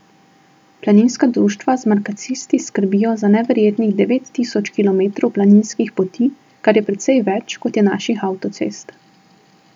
Planinska društva z markacisti skrbijo za neverjetnih devet tisoč kilometrov planinskih poti, kar je precej več, kot je naših avtocest.